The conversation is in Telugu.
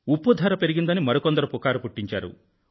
ఉప్పు ధర పెరిగిందని మరి కొందరు వదంతులు పుట్టించారు